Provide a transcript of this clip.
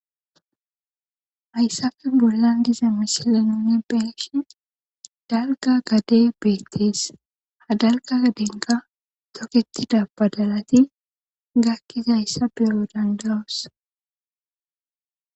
Hayssappe bollan de'zza missile nunni be'shshin dalgga gade bethess. Ha dalga gaden thokethida badalati gakizays beo' dandao'ss.